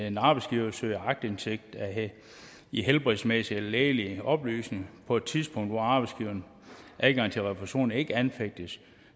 en arbejdsgiver søger aktindsigt i helbredsmæssige eller lægelige oplysninger på et tidspunkt hvor arbejdsgiverens adgang til refusion ikke anfægtes